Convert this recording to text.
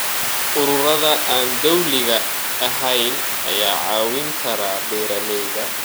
Ururada aan dowliga ahayn ayaa caawin kara beeralayda.